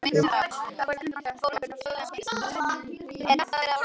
Þar voru yfir tvö hundruð manns þegar hreppurinn var stofnaður.